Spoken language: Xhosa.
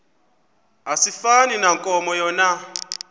asifani nankomo yona